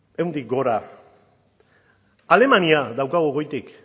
ehuntik gora alemania daukagu goitik